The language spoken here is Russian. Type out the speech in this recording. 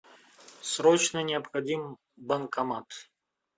срочно необходим банкомат